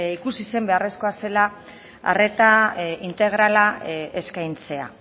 ikusi zen beharrezkoa zela arrera integrala eskaintzea